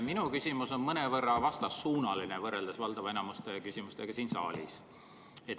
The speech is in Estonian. Minu küsimus on mõnevõrra vastassuunaline võrreldes valdava enamuse küsimustega siin saalis.